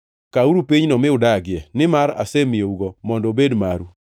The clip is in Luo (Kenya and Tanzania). Kawuru pinyno mi udagie, nimar asemiyougo mondo obed maru.